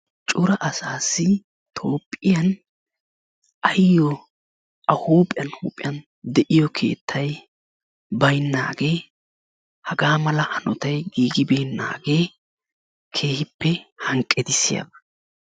cora asaassi toophiyan ayo a huuphe huuphiyan de'iyuo keettay baynagee hagaa mala hanottay giigibeenaagee keehippe hanqqetissiyaba.